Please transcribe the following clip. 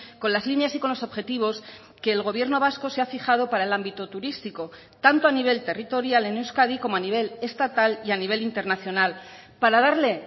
con las líneas y con los objetivos que el gobierno vasco se ha fijado para el ámbito turístico tanto a nivel territorial en euskadi como a nivel estatal y a nivel internacional para darle